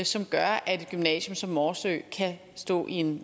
som gør at et gymnasium som morsø kan stå i en